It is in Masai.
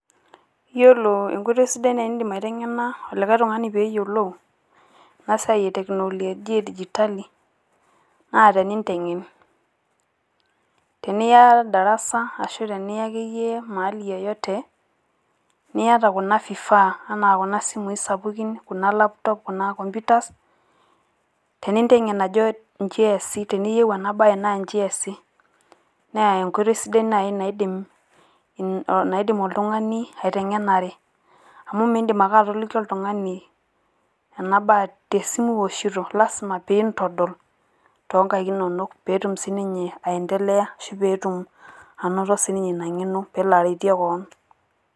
Yiolo enkoitoi sidai naaji nidim aiteng`ena likae tung`ani pee eyiolou ena siai e technolojia e digitali naa tenintegen. Teniya darasa ashu teniya akeyie mahali yeyote niyata kuna vifaa enaa kuna simui sapukin, kuna laptop kuna computer tenintegen ajo inji easi teniyieu ena baye naa inji easi. Naa enkoitoi sidai naaji naidim oltung`ani aiteng`enare. Amu miidim ake atoliki oltung`ani ena te simu iwoshito lasima peyie intodol too nkaik inonok peyie etum sii ninye aendelea ashu pee etum sii ninye ina ng`eno pee elo aretie kewon.